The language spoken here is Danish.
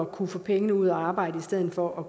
kunne få pengene ud at arbejde i stedet for at